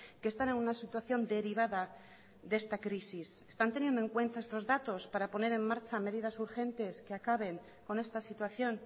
que están en una situación derivada de esta crisis están teniendo en cuenta estos datos para poner en marcha medidas urgentes que acaben con esta situación